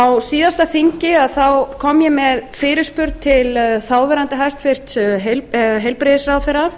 á síðasta þingi kom ég með fyrirspurn til þáverandi hæstvirtur heilbrigðisráðherra